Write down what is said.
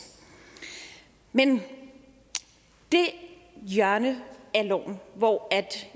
men det hjørne af loven hvor